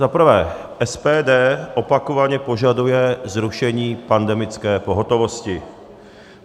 Za prvé, SPD opakovaně požaduje zrušení pandemické pohotovosti.